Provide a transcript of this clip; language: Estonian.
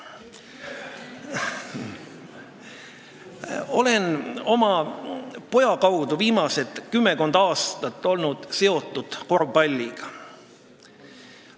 Olen oma poja kaudu viimased kümmekond aastat olnud seotud korvpalliga.